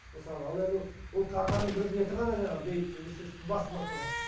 мысалы ал енді ол картаның бір беті ғана жаңағы бейіттің ескерткіштің басында тұрған